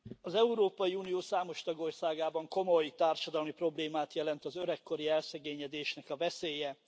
Az Európai Unió számos tagországában komoly társadalmi problémát jelent az öregkori elszegényedésnek a veszélye.